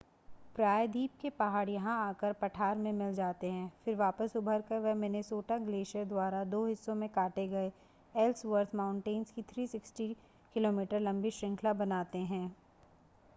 प्रायद्वीप के पहाड़ यहां आकर पठार में मिल जाते हैं फिर वापस उभरकर वे मिनेसोटा ग्लेशियर द्वारा दो हिस्सों में काटे गए एल्सवर्थ माउंटेंस की 360 किलोमीटर लंबी श्रृंखला बनाते हैं